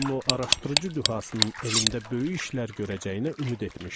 Onun araşdırıcı dühasının elmdə böyük işlər görəcəyinə ümid etmişdim.